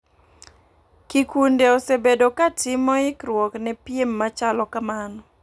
Kikunde osebedo ka timo ikruok ne piem machalo kamano .